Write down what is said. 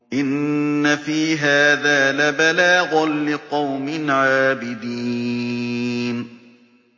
إِنَّ فِي هَٰذَا لَبَلَاغًا لِّقَوْمٍ عَابِدِينَ